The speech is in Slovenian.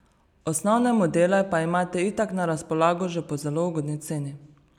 Osnovne modele pa imate itak na razpolago že po zelo ugodni ceni.